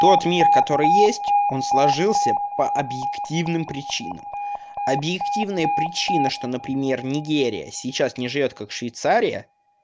тот мир который есть он сложился по объективным причинам объективная причина что например нигерия сейчас не живёт как швейцария